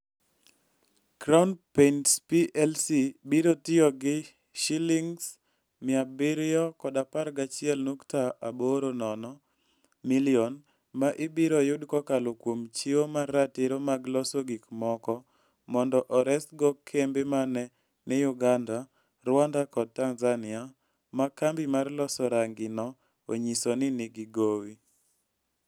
Crown Paints Plc biro tiyo gi Sh711.80 million ma ibiro yud kokalo kuom chiwo mar ratiro mag loso gik moko mondo oresgo kembe ma ne ni Uganda, Rwanda kod Tanzania, ma kambi mar loso rangi ne onyiso ni nigi gowi.